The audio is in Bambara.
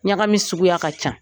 Ɲagami suguya ka ca.